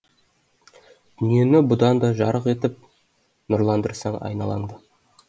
дүниені бұдан да жарық етіп нұрландырсаң айналаңды